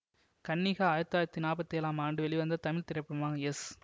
கன்னிகா ஆயிரத்தி தொள்ளாயிரத்தி நாற்பத்தி ஏழாம் ஆண்டு வெளிவந்த தமிழ் திரைப்படமாகு எஸ்